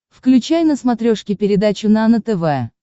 включай на смотрешке передачу нано тв